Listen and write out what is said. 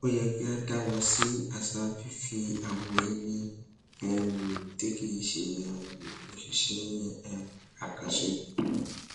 ó yẹ kí a dáwọ sí àṣà fífi àwọn ẹni um tí kì í ṣe um òṣìṣẹ um àkànṣe